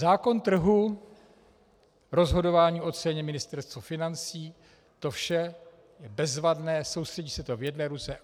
Zákon trhu, rozhodování o ceně, Ministerstvo financí - to vše je bezvadné, soustředí se to v jedné ruce.